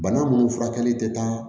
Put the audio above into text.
Bana munnu furakɛli tɛ taa